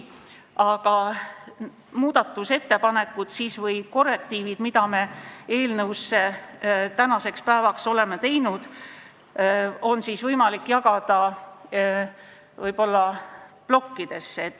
Aga muudatusettepanekud või korrektiivid, mida me eelnõus tänaseks päevaks oleme teinud, on võimalik jagada plokkidesse.